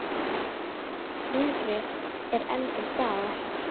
Hungrið er enn til staðar.